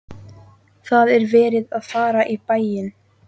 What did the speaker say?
Það er verið að fara í bæinn!